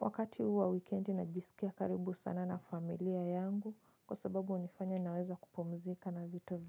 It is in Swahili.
Wakati huu wa wikendi najisikia karibu sana na familia yangu kwa sababu hunifanya naweza kupumzika na vitu.